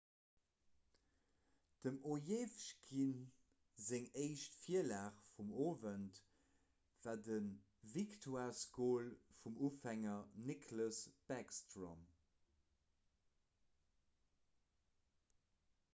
dem ovechkin seng éischt virlag vum owend war de victoiresgol vum ufänger nicklas backstrom